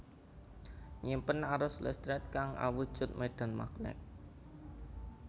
Nyimpen arus listrik kang awujud medan magnet